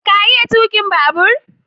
ka iya tukin babur?